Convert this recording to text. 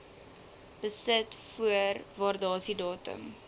besit voor waardasiedatum